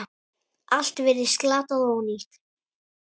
Allt virtist glatað og ónýtt.